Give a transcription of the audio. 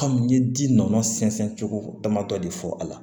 n ye ji nɔnɔ sɛnsɛn cogo dama dɔ de fɔ a la